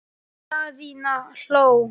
Daðína hló.